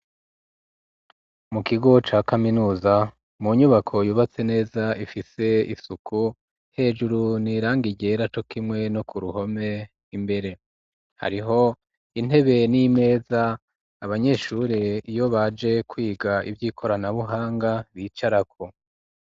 Mu kigo ca kaminuza mu nyubako yubatse neza ifise isuku hejuru n'irangi ryera cokimwe no ku ruhome imbere hariho intebe n'imeza abanyeshuri iyo baje kwiga ivyi koranabuhanga bicarako.